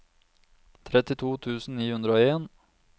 trettito tusen ni hundre og en